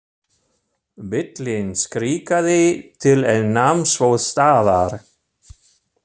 Bíllinn skrikaði til en nam svo staðar.